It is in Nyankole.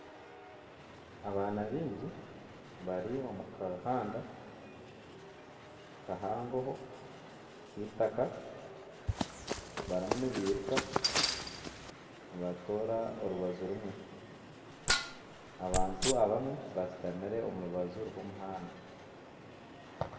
Abaana baingi bari omu kahanda kahangoho k'eitaka barimu nibiruka nibatoora orubaju rumwe. Abantu abamwe bashutamire omu rubaju rw'omuhanda.